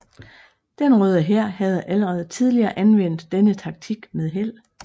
Den Røde Hær havde allerede tidligere anvendt denne taktik med held